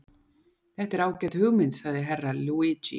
Þetta er ágæt hugmynd, sagði Herra Luigi.